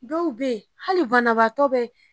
Dɔw bɛ hali banabaatɔ bɛ